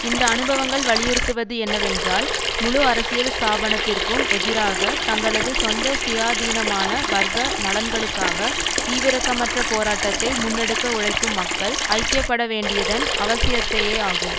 இந்த அனுபவங்கள் வலியுறுத்துவது என்னவென்றால் முழு அரசியல் ஸ்தாபனத்திற்கும் எதிராக தங்களது சொந்த சுயாதீனமான வர்க்க நலன்களுக்காக ஈவிரக்கமற்ற போராட்டத்தை முன்னெடுக்க உழைக்கும் மக்கள் ஐக்கிய பட வேண்டியதன் அவசியத்தையேயாகும்